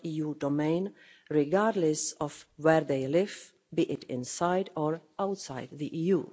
.eu domain regardless of where they live, be it inside or outside the EU.